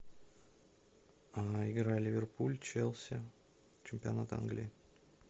игра ливерпуль челси чемпионат англии